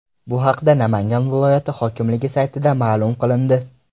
Bu haqda Namangan viloyati hokimligi saytida ma’lum qilindi .